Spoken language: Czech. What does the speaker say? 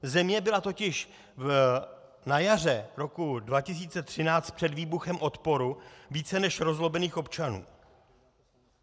Země byla totiž na jaře roku 2013 před výbuchem odporu více než rozlobených občanů.